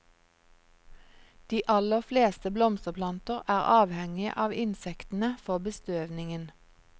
De aller fleste blomsterplanter er avhengige av insektene for bestøvningen.